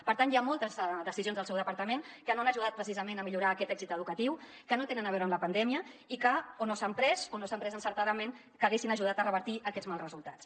per tant hi ha moltes decisions del seu departament que no han ajudat precisament a millorar aquest èxit educatiu que no tenen a veure amb la pandèmia i que o no s’han pres o no s’han pres encertadament que haguessin ajudat a revertir aquests mals resultats